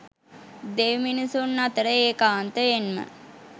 දෙව්මිනිසුන් අතර ඒකාන්තයෙන්ම